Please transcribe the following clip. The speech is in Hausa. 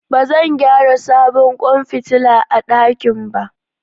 Ba zan gyara sabon kwan fitila a dakin ba